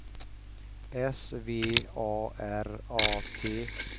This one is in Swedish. S V A R A T